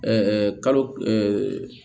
Ɛɛ kalo